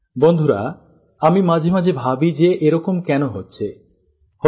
বন্ধুরা আমি মাঝে মাঝে ভাবি যে এরকম কেন হল কেন হচ্ছে